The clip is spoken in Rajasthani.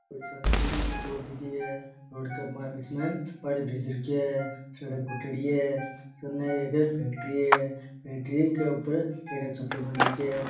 बड़ी सार की रोड दिखी है रोड के माय बीच में पानी भरीज रख्यो है सड़क फुटेडी है सामने एक फैक्ट्री है फैक्ट्री के ऊपर टेन रो छपरो बन रखयो है।